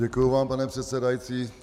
Děkuji vám, pane předsedající.